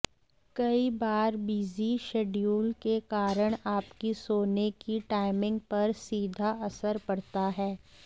कई बार busy schedule के कारण आपकी सोने की टाइमिंग पर सीधा असर पड़ता है